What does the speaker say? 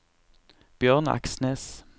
Bjørn Aksnes